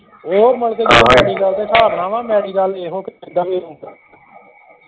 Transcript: ਉਹ ਮੁੜਕੇ medical ਦੇ ਹਿਸਾਬ ਨਾਲ ਵਾਂ medical ਇਹੋ ਵੀ